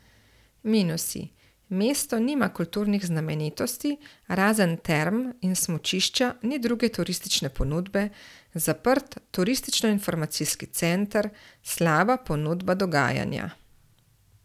Minusi:mesto nima kulturnih znamenitosti, razen term in smučišča ni druge turistične ponudbe, zaprt turističnoinformacijski center, slaba ponudba dogajanja.